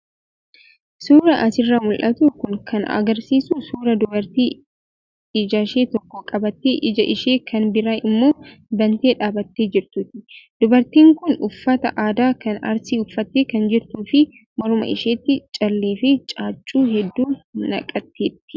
Suuraan asirraa mul'atu kun kan agarsiisu suuraa dubartii ijashee tokko qabattee ija ishee kan biraa immoo bantee dhaabbattee jirtuuti. Dubartiin kun uffata aadaa kan arsii uffattee kan jirtuu fi morma isheetti callee fi caaccuu hedduu naqatteetti.